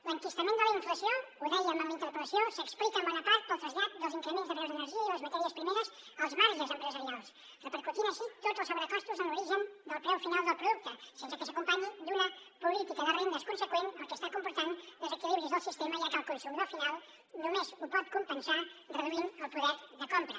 l’enquistament de la inflació ho dèiem en la interpel·lació s’explica en bona part pel trasllat dels increments de preus de l’energia i les matèries primeres als marges empresarials repercutint així tots els sobrecostos en l’origen al preu final del producte sense que s’acompanyi d’una política de rendes conseqüent fet que està comportant desequilibris del sistema ja que el consumidor final només ho pot compensar reduint el poder de compra